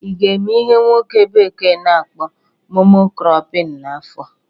ị ga-eme ihe nwoke bekee na-akpọ "mono cropping" n'afọ a?